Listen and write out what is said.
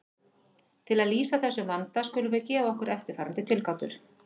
Til að lýsa þessum vanda skulum við gefa okkur eftirfarandi tilgátur.